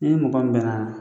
N'i mɔgɔ min bɛnna